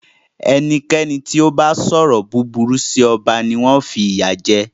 Ẹnikẹ́ni tí o bá sọrọ búburú sí ọba ni wọn fi ìyà jẹ.